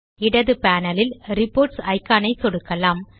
இடது பானலில் reports icon ஐ சொடுக்கலாம்